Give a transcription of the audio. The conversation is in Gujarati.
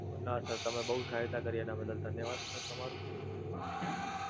નાં Sir તમે બઉ સહાયતા કરી એનાં બદલ ધન્યવાદ Sir તમારો!